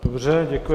Dobře děkuji.